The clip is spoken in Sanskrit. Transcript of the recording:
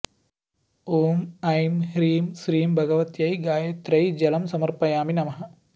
ॐ ऐं ह्रीं श्रीं भगवत्यै गायत्र्यै जलं समर्पयामि नमः